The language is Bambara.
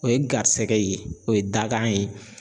O ye garisɛgɛ ye o ye dakan ye